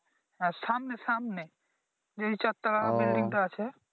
হ্যাঁ সামনে সামনে যে চারতালা বিল্ডিংটা আছে